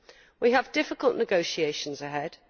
We have difficult negotiations ahead.